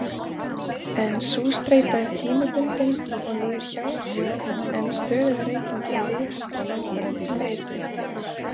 En sú streita er tímabundin og líður hjá, en stöðugar reykingar viðhalda langvarandi streitu.